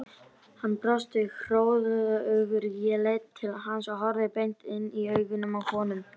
En loksins þegar það var komið upp að var pabbi á bak og burt.